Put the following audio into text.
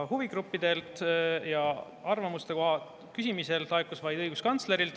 Huvigruppidelt arvamuse küsimisel laekus arvamus vaid õiguskantslerilt.